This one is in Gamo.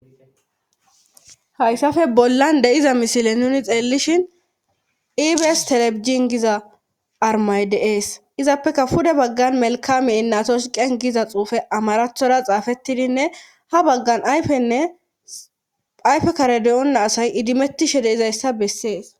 hayssafe bollan de7iza misile nuni xeellishin iibes telebijin giza armay de7ees izappeka fude baggan melkam ye inatoch qen giza xuufe amarathora xaafettidinne ha baggan ayfenne ayfe kare deyona asay idimettishe d7izayssa bessees.